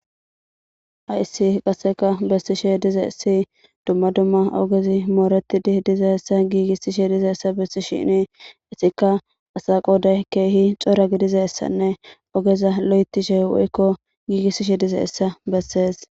Hayssi qassika bessishe dizayssi dumma dumma ogezi mooreththizi dizayssa gigissishe dizayssa bessisheeni ethikka asaa qooday keehi cora gidizayssanne ogeza loyththishe woykko giigissishe dizayssa bessees.